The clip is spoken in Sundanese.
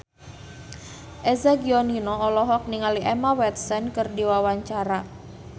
Eza Gionino olohok ningali Emma Watson keur diwawancara